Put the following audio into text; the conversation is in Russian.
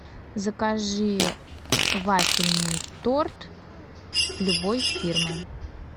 закажи вафельный торт любой фирмы